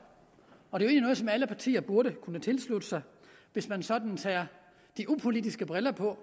og det er egentlig noget som alle partier burde kunne tilslutte sig hvis man sådan tager de upolitiske briller på